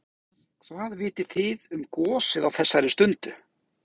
Kristján Már Unnarsson: Hvað vitið þið um gosið á þessari stundu?